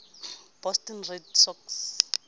boston red sox